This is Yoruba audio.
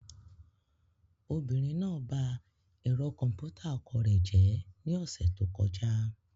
Obìnrin náà ba ẹ̀rọ kọ̀m̀pútà ọkọ rẹ̀ jẹ́ ní ọ̀sẹ̀ tó kọjá.